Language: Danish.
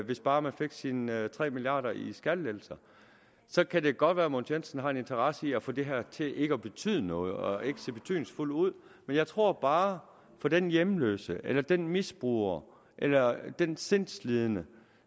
hvis bare man fik sine tre milliard kroner i skattelettelser så kan det godt være at herre mogens jensen har en interesse i at få det her til ikke at betyde noget og ikke se betydningsfuldt ud men jeg tror bare for den hjemløse eller den misbruger eller den sindslidende